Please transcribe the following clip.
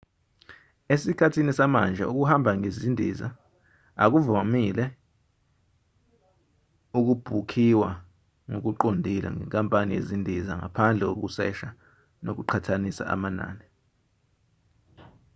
esikhathini samanje ukuhamba ngendiza akuvile ukubhukhiwa ngokuqondile nenkampani yezindiza ngaphandle kokusesha nokuqhathanisa amanani